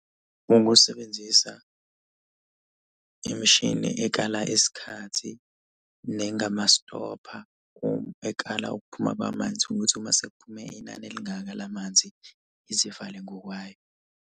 Ukusebenzisa imishini ekala isikhathi nengamastopha . Ekala ukuphuma kwamanzi ukuthi uma sekuphume inani elingaka la manzi izivale ngokwayo.